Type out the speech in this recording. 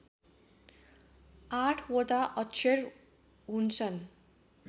आठवटा अक्षर हुन्छन्